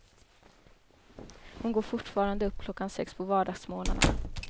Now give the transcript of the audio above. Hon går fortfarande upp klockan sex på vardagsmorgnarna.